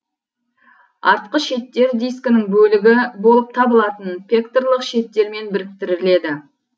артқы шеттер дискінің бөлігі болып табылатын пекторлық шеттермен біріктіріледі